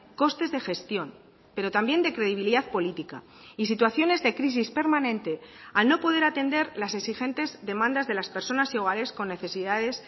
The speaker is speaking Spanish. costes de gestión pero también de credibilidad política y situaciones de crisis permanente al no poder atender las exigentes demandas de las personas iguales con necesidades